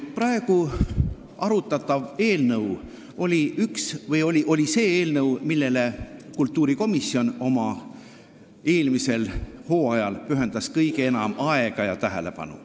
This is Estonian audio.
Praegu arutatav eelnõu oli see eelnõu, millele kultuurikomisjon eelmisel hooajal pühendas kõige enam aega ja tähelepanu.